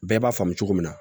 Bɛɛ b'a faamu cogo min na